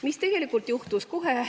Mis tegelikult juhtus?